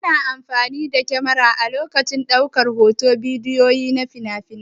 Ana amfani da kyamara a lokacin ɗaukar hoton bidiyo na finafinai.